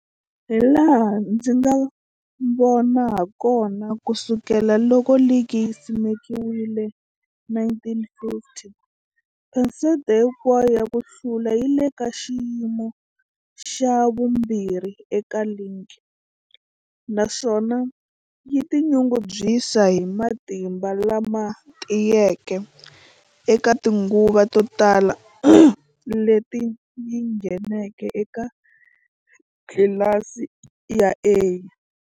Hilaha ndzi nga vona hakona, ku sukela loko ligi yi simekiwile, 1950, phesente hinkwayo ya ku hlula yi le ka xiyimo xa vumbirhi eka ligi, naswona yi tinyungubyisa hi matimba lama tiyeke eka tinguva to tala leti yi ngheneke eka tlilasi ya A.